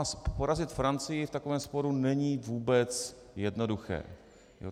A porazit Francii v takovém sporu není vůbec jednoduché.